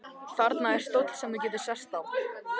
Þarna er stóll sem þú getur sest á.